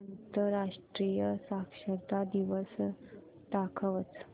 आंतरराष्ट्रीय साक्षरता दिवस दाखवच